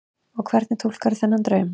Og hvernig túlkarðu þennan draum?